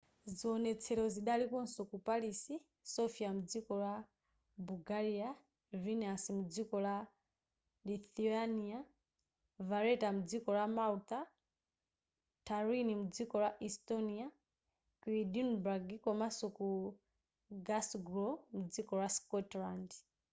ziwonetsero zidalikonso ku paris sofia mdziko la bulgaria vilnius mdziko la lithuania valetta mdziko la malta tallinn mdziko la estonia ku edinburgh komanso ku glasgow mdziko la scotland